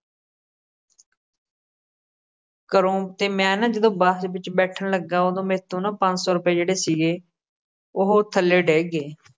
ਘਰੋਂ, ਤੇ ਮੈਂ ਨਾ ਜਦੋ, ਬੱਸ ਦੇ ਵਿੱਚ ਬੈਠਣ ਲੱਗਾ। ਉਦੋਂ ਮੈਤੋਂ ਨ, ਪੰਜ ਸੌ ਰੁਪਏ ਜਿਹੜੇ ਸੀਗੇ, ਓਹੋ ਥੱਲੇ ਡਿੱਗਗੇ।